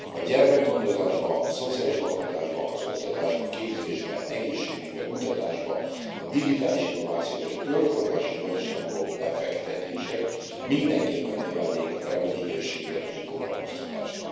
A gyermekgondozásba, a szociális lakhatásba, az oktatásba, képzésbe, egészségügybe, kutatásba, a digitális innovációba és a körforgásos gazdaságba való befektetések mindenképpen növelnék a termelékenységet és a foglalkoztatást.